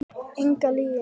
Enga lygi.